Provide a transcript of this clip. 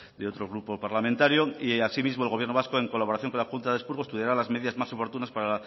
de otro grupo parlamentario y asimismo el gobierno vasco en colaboración con la junta de expurgo estudiará las medidas más oportunas para